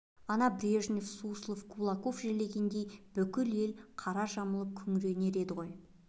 ана брежнев суслов кулаков жерлегендей бүкіл ел қара жамылып күңіренер еді ғой